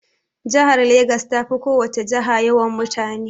Jihar Legas ta fi ko wace jiha yawan mutane.